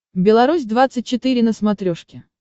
беларусь двадцать четыре на смотрешке